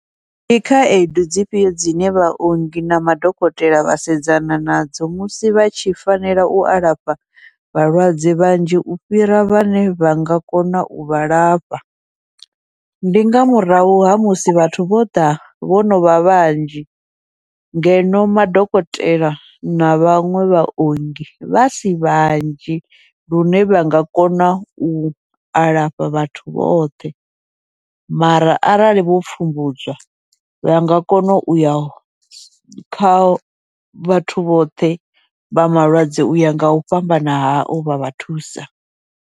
Ndi khaedu dzifhio dzine vhaongi na madokotela vha sedzana nadzo musi vha tshi fanela u alafha vhalwadze vhanzhi u fhira vhane vha nga kona uvha lafha, ndi nga murahu ha musi vhathu vho ḓa vho novha vhanzhi ngeno madokotela na vhaṅwe vhaongi vha si vhanzhi, lune vha nga kona u alafha vhathu vhoṱhe. Mara arali vho pfhumbudzwa vha nga kona uya kha vhathu vhoṱhe vha malwadze uya ngau fhambana hao vha vha thusa.